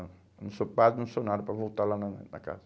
Não, eu não sou padre, não sou nada para voltar lá na na na casa.